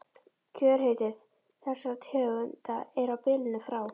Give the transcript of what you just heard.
Kjörhiti þessara tegunda er á bilinu frá